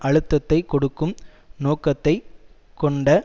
அழுத்தத்தை கொடுக்கும் நோக்கத்தை கொண்ட